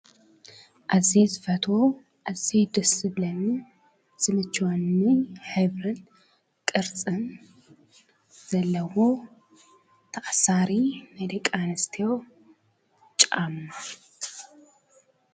ኣዝየ ዝፈትዎ ኣዝዩ ደስ ዝብለኒ ዝምችወኒ ሕብሪን ቅርፅን ዘለዎ ተኣሳሪ ናይ ደቂ ኣንስትዮ ጫማ።